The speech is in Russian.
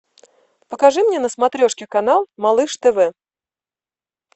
покажи мне на смотрешке канал малыш тв